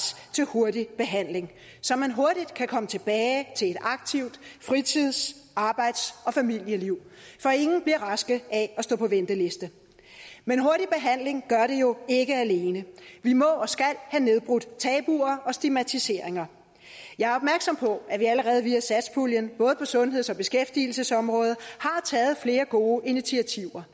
til hurtig behandling så man hurtigt kan komme tilbage til et aktivt fritids arbejds og familieliv for ingen bliver raske af at stå på venteliste men hurtig behandling gør det jo ikke alene vi må og skal have nedbrudt tabuer og stigmatiseringer jeg er opmærksom på at vi allerede via satspuljen både på sundheds og beskæftigelsesområdet har taget flere gode initiativer